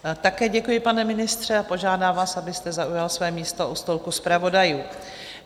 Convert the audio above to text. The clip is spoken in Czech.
Také děkuji, pane ministře, a požádám vás, abyste zaujal své místo u stolku zpravodajů.